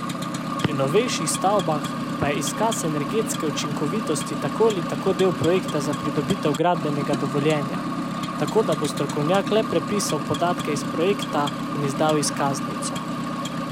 Pri novejših stavbah pa je izkaz energetske učinkovitosti tako ali tako del projekta za pridobitev gradbenega dovoljenja, tako da bo strokovnjak le prepisal podatke iz projekta in izdal izkaznico.